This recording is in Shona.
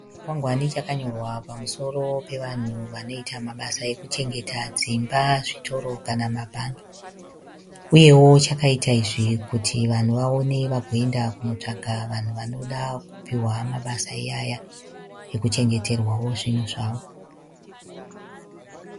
Chikwangwani chakanyorwa pamusoro pevanhu vanoita mabasa ekuchengeta dzimba, zvitoro kana mabhangi. Uyewo chakaita izvi kuti vanhu vaone vagoenda kunotsvaga vanhu vanoda kupiwa mabasa iyaya ekuchengeterwawo zvinhu zvavo.